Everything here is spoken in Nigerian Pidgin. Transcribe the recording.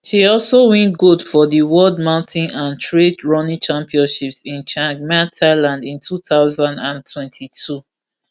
she also win gold for di world mountain and trail running championships in chiang mai thailand in two thousand and twenty-two